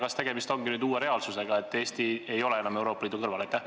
Kas tegemist ongi nüüd uue reaalsusega, et Eesti ei ole enam Euroopa Liidu kõrval?